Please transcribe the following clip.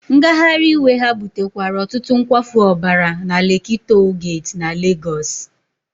Ngagharị iwe ha butekwara ọtụtụ nkwafu ọbara na Lekki Toll Gate na Legosi.